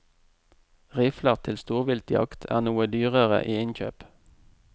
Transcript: Rifler til storviltjakt er noe dyrere i innkjøp.